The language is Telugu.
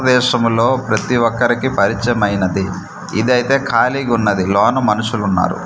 వేసములో ప్రతి ఒక్కరికి పరిచయమైనది ఇదైతే ఖాళీగున్నది లోన మనుషులున్నారు.